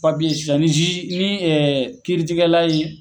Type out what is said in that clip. sisan ni ni kiiri tigɛla ye